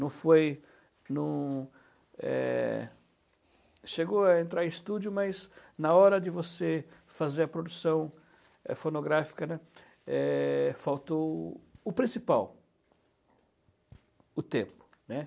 Não foi, não é... Chegou a entrar em estúdio, mas na hora de você fazer a produção fonográfica, né, faltou o o principal, o tempo, né?